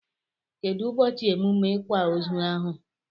Kedu ụbọchị emume ikwa ozu ahụ?